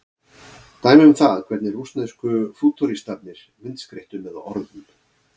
Dæmi um það hvernig rússnesku fútúristarnir myndskreyttu með orðum.